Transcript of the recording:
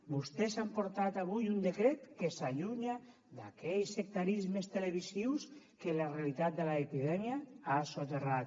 vostès han portat avui un decret que s’allunya d’aquells sectarismes televisius que la realitat de l’epidèmia ha soterrat